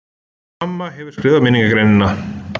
MAMMA HEFUR SKRIFAÐ MINNINGARGREININA!